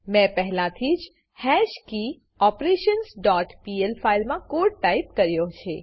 મેં પહેલા થી જ હેશકીઓપરેશન્સ ડોટ પીએલ ફાઈલમા કોડ ટાઈપ કયો છે